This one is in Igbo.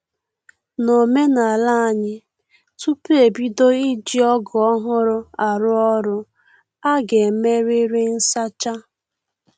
N'omenala anyị, tupu e bido iji ọgụ ọhụrụ arụ ọrụ, a ga-emerịrị nsacha